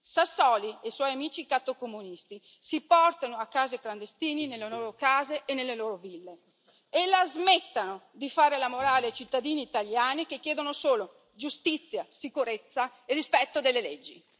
Sassoli e suoi amici cattocomunisti si portino a casa i clandestini nelle loro case e nelle loro ville e la smettano di fare la morale ai cittadini italiani che chiedono solo giustizia, sicurezza e rispetto delle leggi.